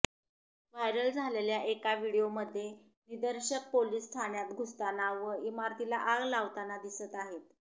viral झालेल्या एका व्हिडिओमध्ये निदर्शक पोलीस ठाण्यात घुसताना व इमारतीला आग लावताना दिसत आहेत